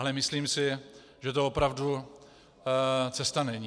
Ale myslím si, že to opravdu cesta není.